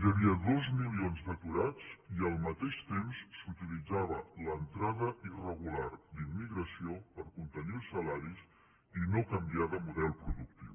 hi havia dos milions d’aturats i al mateix temps s’utilitzava l’entrada irregular d’immigració per contenir els salaris i no canviar de model productiu